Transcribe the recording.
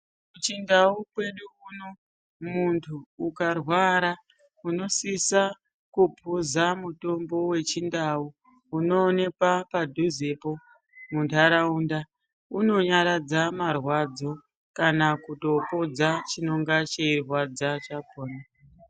Kuchindau kwedu uno muntu ukarwara unosisa kupuza mutombo wechindau unoonekwa padhuzepo muntaraunda, unonyaradza marwadzo kana kutopodza chinonga cheirwadza kwakhona.